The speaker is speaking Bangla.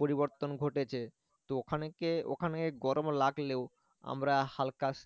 পরিবর্তন ঘটেছে তো ওখানকে ওখানে গরম লাগলেও আমরা হালকা